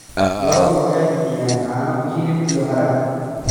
Lo'du waxay bixiyaan caano, hilib, iyo harag.